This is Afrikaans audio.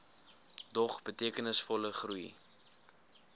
dog betekenisvolle groei